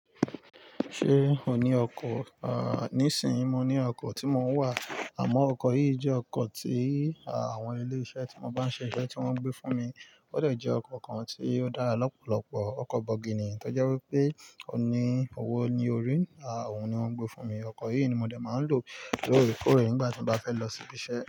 Ṣé ò ní ọkọ? Ah, níìsín, mo ní ọkọ̀ tí mo ń wà, àmọ́ ọkọ̀ yìí jẹ́ ọkọ̀ tí àwọn ilé iṣẹ́ tí mo bá ń ṣe iṣẹ́ tí wọ́n ń gbé fún mi. Ó dẹ̀ jẹ́ ọkọ̀ kan tí ó dára lọ́pọ̀lọpọ̀, ọkọ̀ bọ̀gìnì, tó jẹ́ wí pé ó ní owó ní orí rẹ̀. À oun ni wọ́n ń gbé fún mi. Ọkọ̀ yìí ni mo dẹ̀ máa lò lóòrèkóòrè nígbà tí mo bá fẹ́ lọ sí ibi iṣẹ́.